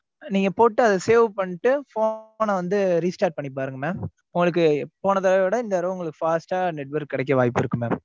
நீங்க போட்டு அத save பண்ணீட்டு phone அ வந்து restart பண்ணுங்க mam உங்களுக்கு போனதடவ விட இந்த தடவ fast ஆ network கிடைக்க வாய்ப்பு இருக்கு mam.